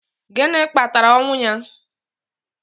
Gịnị kpatara ọnwụ ya?